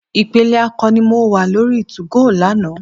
Ìpele akọni ni mo wá lórí 2go lánàá.